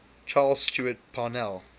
charles stewart parnell